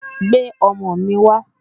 Gbé òmò mi wá